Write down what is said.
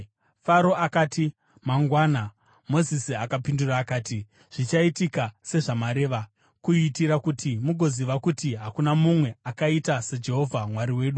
Faro akati, “Mangwana.” Mozisi akapindura akati, “Zvichaitika sezvamareva, kuitira kuti mugoziva kuti hakuna mumwe akaita saJehovha Mwari wedu.